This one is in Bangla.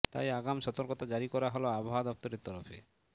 তাই আগাম সতর্কতা জারি করা হল আবহাওয়া দফতরের তরফে